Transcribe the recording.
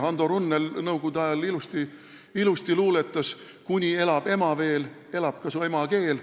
Hando Runnel luuletas ilusti nõukogude ajal: "Kuna elab ema veel, kestab ikka emakeel".